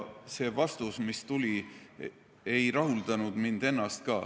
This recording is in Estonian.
See vastus, mis tuli, ei rahuldanud mind ennast ka.